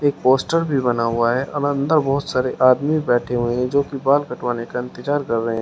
एक पोस्टर भी बना हुआ है ऐन अंदर बहुत सारे आदमी बैठे हुए हैं जो की बाल कटवाने का इंतजार कर रहे हैं।